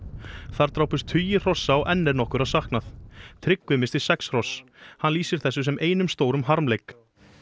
þar drápust tugir hrossa og enn er nokkurra saknað Tryggvi missti sex hross hann lýsir þessu sem einum stórum harmleik